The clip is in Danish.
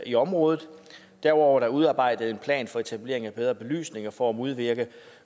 i området derudover er der udarbejdet en plan for etablering af bedre belysning for at modvirke